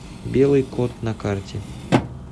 белый кот на карте